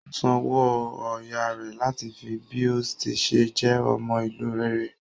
Ó san owó ọyá rẹ̀ láti fi bí ó tí ṣe jẹ́ ọmọ ìlú rere.